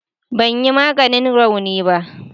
Ban yi maganin raunin ba